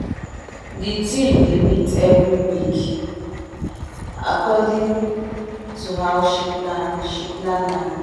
the team dey meet every week according to how she plan she plan am